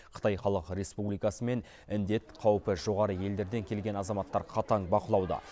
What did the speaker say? қытай халық республикасы мен індет қаупі жоғары елдерден келген азаматтар қатаң бақылауда